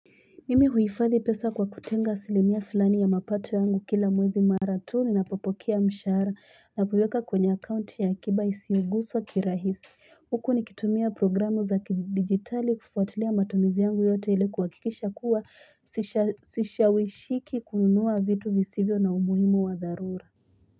Mimi huifadhi pesa kwa kutenga asilimia fulani ya mapato yangu kila mwezi mara tuni na popokea mshahara na kuweka kwenye akaunti ya akiba isioguswa kirahisi huku nikitumia programu za kidigitali kufuatilia matumizi yangu yote ili kuhakikisha kuwa sishawishiki kununua vitu visivyo na umuhimu wadharura.